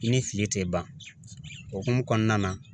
I ni fili tɛ ban o hokumu kɔnɔna na